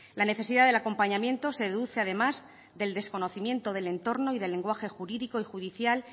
la necesidad del acompañamiento se deduce además del desconocimiento del entorno y del lenguaje jurídico y judicial